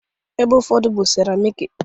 ebe ụfọdụ bụ seramiki